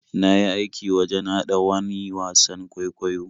Na yi aikin wajen haɗa wani wasan kwaikwayo.